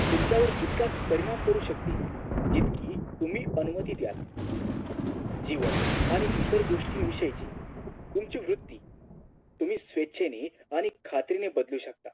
तुमच्यावर तितकाच परिणाम करू शकते इतकी तुम्ही अनुमती द्या जीवन आणि इतर गोष्टी विषयची तुमची वृत्ती स्वच्छेने आणि खात्रीने बदलू शकता